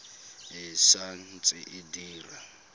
e sa ntse e dira